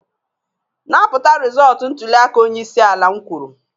napụta rịzọlt ntuliaka onye isi ala m kwuru!